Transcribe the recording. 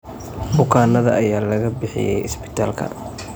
Bukaanada ayaa laga bixiyay isbitaalka.